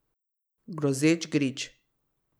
Grozeč grič.